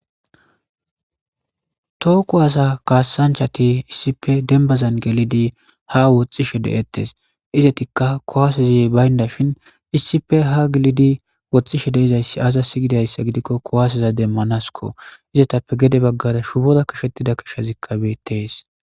Too ku hasa kaassanchati issipe dembazan gelidi ha woxxishe de7ettes izetikka kowaaseza baynda shin iissipe ha gilidi woxxishe deizayssi aza siygidayssa gidikko kowaaseza demmanasko izetappe gede baggara shubora kishettida kishazikkabetees.